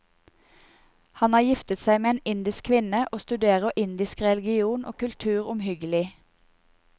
Han har giftet seg med en indisk kvinne og studert indisk religion og kultur omhyggelig.